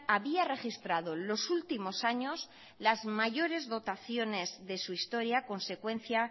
había registrado los últimos años las mayores dotaciones de su historia consecuencia